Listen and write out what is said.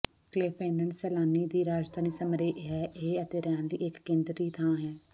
ਕਲੈਫਨਨ ਸੈਲਾਨੀ ਦੀ ਰਾਜਧਾਨੀ ਸੰਮੇਰਾਹ ਹੈ ਅਤੇ ਰਹਿਣ ਲਈ ਇਕ ਕੇਂਦਰੀ ਥਾਂ ਹੈ